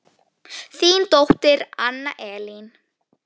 Þín dóttir Anna Elín.